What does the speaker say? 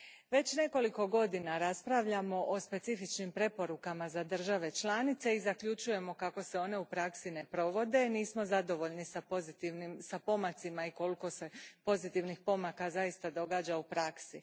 Već nekoliko godina raspravljamo o specifičnim preporukama za države članice i zaključujemo kako se one u praksi ne provode, nismo zadovoljni s pomacima i koliko se pozitivnih pomaka zaista događa u praksi.